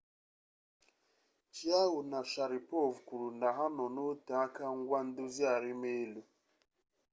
chiao na sharipov kwuru na ha nọ n'oteaka ngwa ndozi arimelu